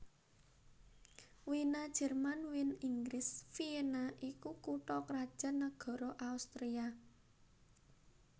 Wina Jèrman Wien Inggris Vienna iku kutha krajan nagara Austria